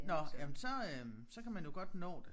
Nåh jamen så øh så kan man jo godt nå det